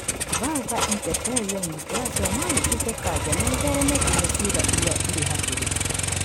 Vulvar intraepithelial neoplasia no ĩtuĩke kanca na ĩthereme nginya ciĩga iria irĩ hakuhĩ.